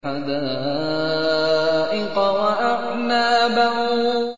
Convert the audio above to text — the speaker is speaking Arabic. حَدَائِقَ وَأَعْنَابًا